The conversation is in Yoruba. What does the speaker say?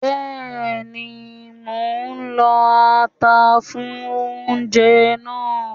Bẹ́ẹ̀ni, mò ń lọ ata fún oúnjẹ náà ni